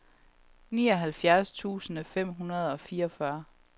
nioghalvfjerds tusind fem hundrede og fireogfyrre